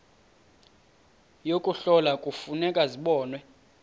yokuhlola kufuneka zibonwe